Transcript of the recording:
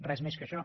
res més que això